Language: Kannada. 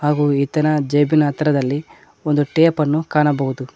ಹಾಗೂ ಈತನ ಜೇಬಿನ ಹತ್ತಿರದಲ್ಲಿ ಒಂದು ಟೇಪನ್ನು ಕಾಣಬಹುದು.